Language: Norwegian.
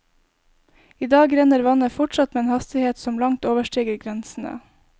I dag renner vannet fortsatt med en hastighet som langt overstiger grensene.